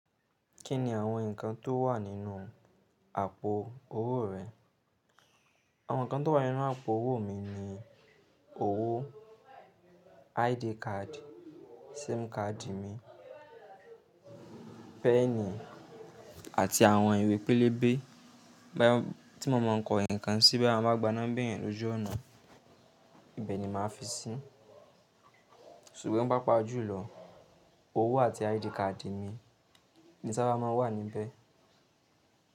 Kí ni àwọn ǹkan tó wà nínú àpò owó rẹ? Àwon kan tó wà nínú àpò owó mi ni owó, ID card, SIM card mi peni àti àwọn ìwé pélébé tí mo máa ń kọ ǹkan sí bá mo bá gbaná béèyàn lójú ọ̀nà, ibẹ̀ ni màá fi sí. Ṣùgbọ́n pá pàájù lọ, owó àti ID card mi ni sábà má ń wà níbẹ̀.